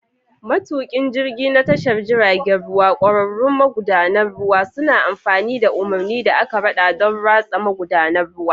Matukin jirgi na tashar jiragen ruwa, ƙwararrun magudanan ruwa, suna amfani da umarni da aka rada don ratsa magudanan ruwa.